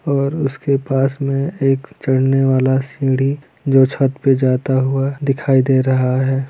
और उसके पास में एक चढ़ने वाला सीढ़ी जो छत पे जाता हुआ दिखाई दे रहा है।